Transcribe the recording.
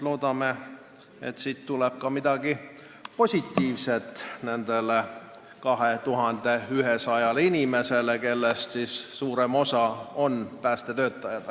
Loodame väga, et siit tuleb mingi positiivne sõnum Päästeametis töötavale 2100 inimesele, kellest suurem osa on päästetöötajad.